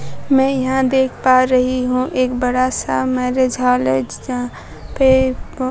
मैं यहां देख पा रही हूं एक बड़ा सा मैरिज हॉल है यहां पे--